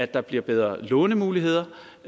der bliver bedre lånemuligheder